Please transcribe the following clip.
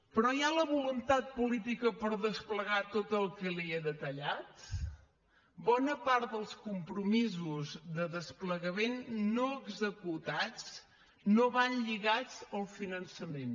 però hi ha la voluntat política per desplegar tot el que li he detallat bona part dels compromisos de desplegament no executats no van lligats al finançament